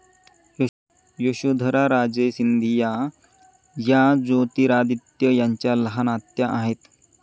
यशोधराराजे सिंधिया या ज्योतिरादित्य यांच्या लहान आत्या आहेत.